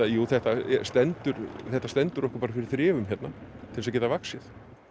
jú þetta stendur þetta stendur okkur bara fyrir þrifum hérna til þess að geta vaxið